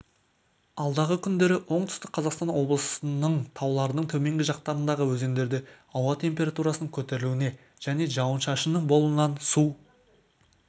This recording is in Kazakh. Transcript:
алдағы күндері оңтүстік қазақстан облысының таулардың төменгі жақтарындағы өзендерде ауа температурасының көтерілуіне және жауын-шашынның болуынан су